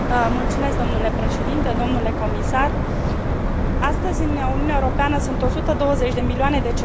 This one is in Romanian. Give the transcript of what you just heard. Astăzi, în Uniunea Europeană, sunt 120 de milioane de cetățeni care sunt expuși riscului sărăciei.